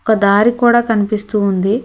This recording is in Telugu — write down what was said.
ఒక దారి కూడ కనిపిస్తూ ఉంది.